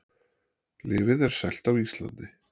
Lyfið er selt á Íslandi